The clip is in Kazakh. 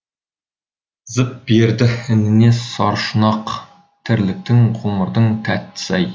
зып берді ініне саршұнақ тірліктің ғұмырдың тәттісі ай